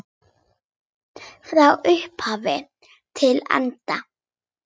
Frá upphafi til enda.